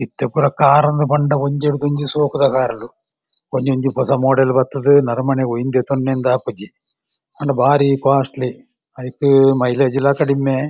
ಇತ್ತೆ ಪೂರೆ ಕಾರುಂದ್ ಪಂಡ ಒಂಜಿಡ್‌ದುಒಂಜಿ ಶೋಕುದ ಕಾರುಡು ಒಂಜೊಂಜಿ ಪೊಸ ಮೋಡೆಲ್ ಬತ್ತ್‌ದ್‌ ನರಮನೆಗ್‌ ಒಯ್ನ್‌ ದೆತ್ತೋನೆಂದು ಆಪುಜ್ಜಿ ಆಂಡ ಬಾರಿ ಕೋಸ್ಟ್‌ಲಿ ಅಯ್ಕ್‌ ಮೈಲೇಜ್‌ಲ ಕಡಿಮೆ.